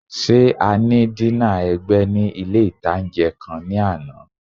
Ṣé a ní dínà ẹ̀gbẹ́ ní ilé-ìtánjẹ kan ní àná?